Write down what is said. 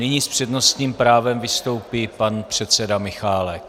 Nyní s přednostním právem vystoupí pan předseda Michálek.